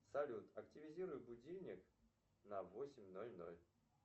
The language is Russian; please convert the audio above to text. салют активизируй будильник на восемь ноль ноль